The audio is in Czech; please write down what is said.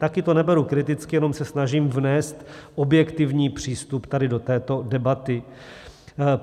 Taky to neberu kriticky, jenom se snažím vnést objektivní přístup tady do této debaty.